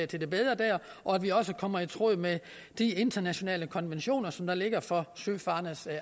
til det bedre der og at vi også kommer i tråd med de internationale konventioner som der ligger for søfarendes